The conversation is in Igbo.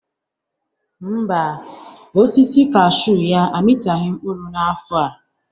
Ḿbà, osisi kaashu ya amịtaghị mkpụrụ n'afọ a.